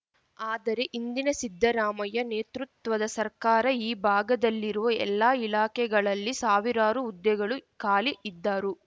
ಆದರೆ ಹಿಂದಿನ ಸಿದ್ಧರಾಮಯ್ಯ ನೇತೃತ್ವದ ಸರ್ಕಾರ ಈ ಭಾಗದಲ್ಲಿರುವ ಎಲ್ಲಾ ಇಲಾಖೆಗಳಲ್ಲಿ ಸಾವಿರಾರು ಹುದ್ದೆಗಳು ಖಾಲಿ ಇದ್ದರೂ